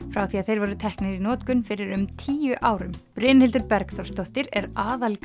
frá því að þeir voru teknir í notkun fyrir um tíu árum Brynhildur Bergþórsdóttir er